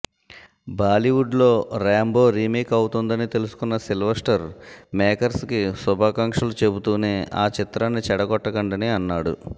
బాలీవుడ్లో Rambo remake అవుతోందని తెలుసుకున్న సిల్వస్టర్ మేకర్స్కి శుభాకాంక్షలు చెబుతూనే ఆ చిత్రాన్ని చెడగొట్టకండని అన్నాడు